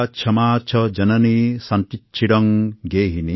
सत्यंसूनुरयंदयाचभगिनीभ्रातामनःसंयमः